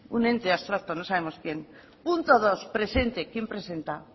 un ente abstracto no sabemos quién punto dos presente quién presenta